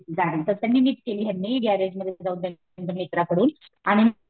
गाडी तर निमित्त केली ह्यांनी गँरेजमध्ये जाऊन त्यांच्या मित्रांकडून आणि